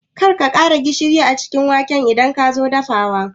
Karka ƙara gishiri a waken idan kazo dafawa